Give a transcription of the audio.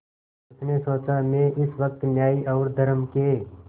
उसने सोचा मैं इस वक्त न्याय और धर्म के